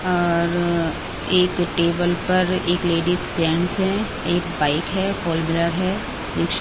औऔर एक टेबल पर एक लेडीज जेंट्स हैं एक बाइक है फॉलबिलर है ईश --